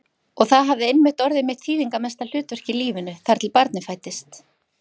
Og það hafði einmitt orðið mitt þýðingarmesta hlutverk í lífinu, þar til barnið fæddist.